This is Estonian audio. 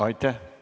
Aitäh!